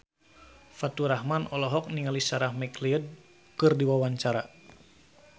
Faturrahman olohok ningali Sarah McLeod keur diwawancara